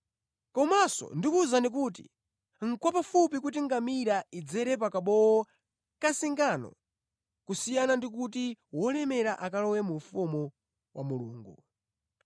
Komanso ndikuwuzani kuti, nʼkwapafupi kuti ngamira idzere pa kabowo ka zingano kusiyana ndi kuti wolemera akalowe mu ufumu wa Mulungu.”